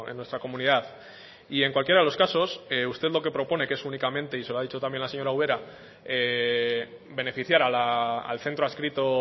en nuestra comunidad y en cualquiera de los casos usted lo que propone y que es únicamente y se lo ha dicho la señora ubera beneficiar al centro adscrito